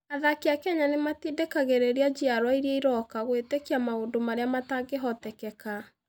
Athaki a Kenya nĩ matindĩkagĩrĩria njiarũa iria iroka gwĩtĩkia maũndũ marĩa matangĩhoteka.